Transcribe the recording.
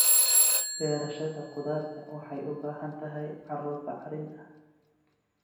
Beerashada khudaarta waxay u baahan tahay carro bacrin ah.